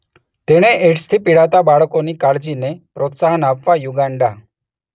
તેણે એઇડ્સથી પીડાતા બાળકોની કાળજીને પ્રોત્સાહન આપવા યુગાન્ડા